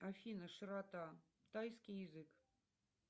афина широта тайский язык